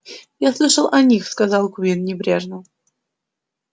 я слышал о них сказал куинн небрежно